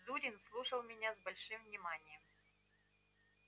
зурин слушал меня с большим вниманием